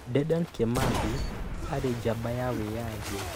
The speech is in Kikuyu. Dedan Kimathi aarĩ njamba ya wĩyathi.